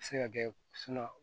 A bɛ se ka kɛ